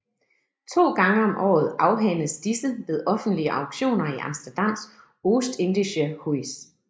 To gange om året afhændes disse ved offentlige auktioner i Amsterdams Oost Indische Huys